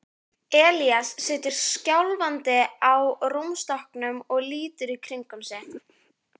Elías situr skjálfandi á rúmstokknum og lítur í kringum sig.